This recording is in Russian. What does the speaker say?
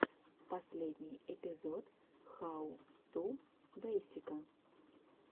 последний эпизод хау ту бейсика